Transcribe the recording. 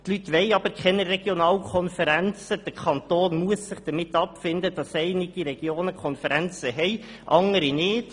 Die Leute wollen aber keine Regionalkonferenzen, und der Kanton muss sich damit abfinden, dass einige Regionen Konferenzen haben und andere nicht.